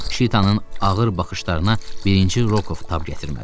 Şitanın ağır baxışlarına birinci Rokov tab gətirmədi.